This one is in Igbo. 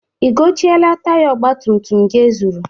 I gochieela taya ọgbatumtum gị e zuru?